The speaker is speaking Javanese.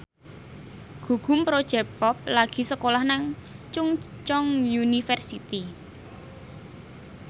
Gugum Project Pop lagi sekolah nang Chungceong University